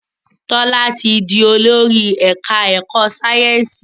Tola tí dì Olórí ẹka ẹkọ Sáyẹnsì.